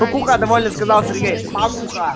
спокуха довольно сказал сергей спокуха